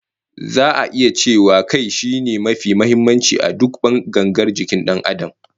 Za'a iya cewa Kai shine mafi muhimmanci a duk gangar jikin Dan Adam